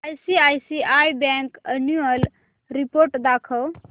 ICICI bank annual report दाखव